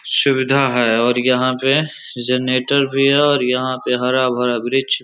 सुविधा है और यहाँ पे जनरेटर भी है और यहां पर पे हरा-भरा वृक्ष --